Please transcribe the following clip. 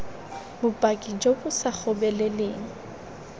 bopaki jo bo sa gobeleleng